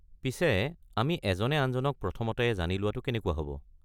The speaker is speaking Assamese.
পিছে আমি এজনে আনজনক প্ৰথমতে জানি লোৱাটো কেনেকুৱা হ’ব?